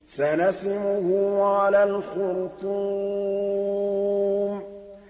سَنَسِمُهُ عَلَى الْخُرْطُومِ